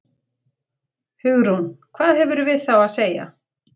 Hugrún: Hvað hefurðu við þá að segja?